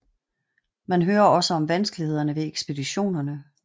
Man hører også om vanskelighederne ved ekspeditionerne